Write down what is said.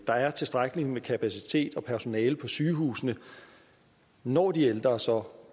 der er tilstrækkelig med kapacitet og personale på sygehusene når de ældre så